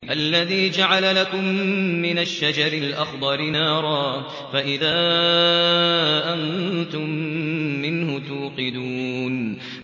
الَّذِي جَعَلَ لَكُم مِّنَ الشَّجَرِ الْأَخْضَرِ نَارًا فَإِذَا أَنتُم مِّنْهُ تُوقِدُونَ